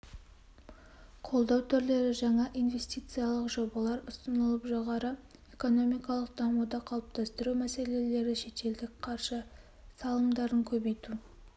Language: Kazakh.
қолдау түрлері жаңа инвестициялық жобалар ұсынылып жоғары экономикалық дамуды қалыптастыру мәселелері шетелдік қаржы салымдарын көбейту